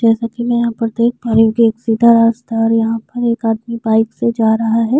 जैसा कि मैं यहां पर देख पा रही हूँ की एक सीधा रास्ता है और यहाँ पर एक आदमी बाइक से जा रहा है।